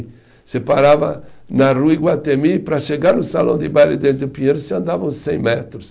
Você parava na Rua Iguatemi, para chegar no salão de baile dentro do Pinheiros, você andava uns cem metros.